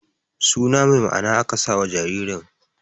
Su na mai ma'ana aka sa wa jaririn